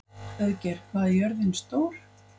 Auðgeir, hvað er jörðin stór?